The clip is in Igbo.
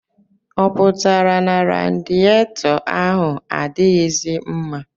Ọ pụtara na radiyetọ ahụ adịghịzi mma?